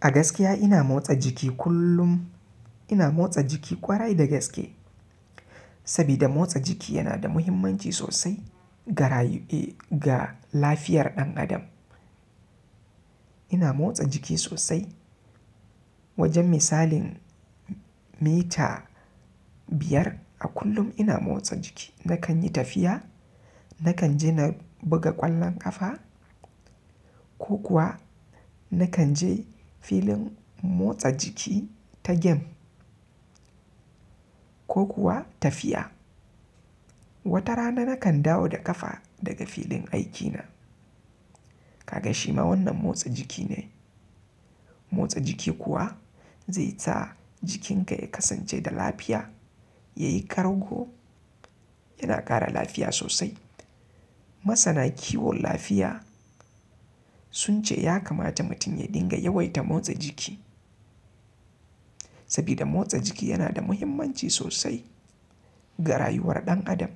A gaskiya ina motsa jiki kullum. Ina motsa jiki kwarai da gaske, sabida motsa jiki yana da muhimmanci sosai ga, ga lafiyar ɗan adam. Ina motsa jiki sosai. Wajen misalin mita biyar a kullum ina motsa jiki. Nakan yi tafiya, nakan je na buga ƙwallon ƙafa ko kuwa nakan je filin motsa jiki ta gem, ko kuwa tafiya. Wata rana nakan dawo da ƙafa daga filin aikina. Kaga shima wannan motsa jiki ne. Motsa jiki kuwa zai sa jikinka ya kasance da lafiya, ya yi ƙargo, yana ƙara lafiya sosai. Masana kiwon lafiya sun ce ya kamata mutum ya dinga yawaita motsa jiki, sabida motsa jiki yana da muhimmanci sosai ga rayuwar ɗan adam,